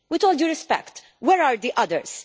With all due respect, where are the others?